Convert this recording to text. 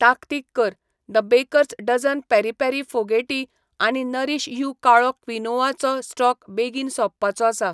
ताकतीक कर, the bakers dozen peri peri फोगेटी आनी नरीश यू काळो क्विनोआ चो स्टॉक बेगीन सोंपपाचो आसा.